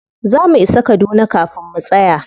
Za mu isa kaduna kafin mu tsaya.